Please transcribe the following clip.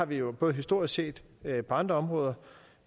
vi har både historisk set på andre områder